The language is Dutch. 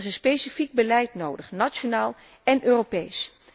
Er is een specifiek beleid nodig, nationaal en Europees.